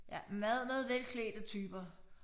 Ja meget meget velklædte typer